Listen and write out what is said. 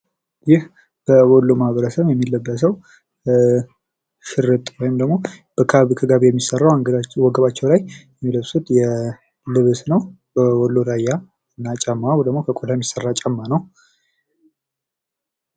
ይህ በወሎ ማህበረሰብ የሚለበሰው ሽርጥ ወይም ደግሞ ከጋቢ የሚሰራው ወገባቸው ላይ የሚለብሱት ልብስ ነው በወሎ ራያ እና ጫማው ደግሞ ከቆዳ የሚሰራ ጫማ ነው::